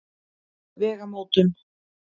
Vegamótum